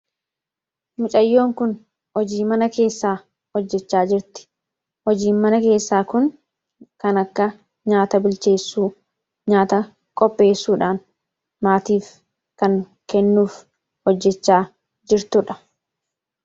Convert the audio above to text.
Mucaayyoon kun hojii Mana keessa hojjechaa jirti. hojiin mana keessa kun kan akka nyaata bilcheessuu, nyaataa qopheessuudhaan maatiif kan kennuuf hojjechaa jirtudha.